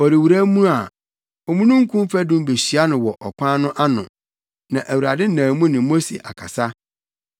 Ɔrewura mu a, omununkum fadum behyia no wɔ ɔkwan no ano na Awurade nam mu ne Mose akasa.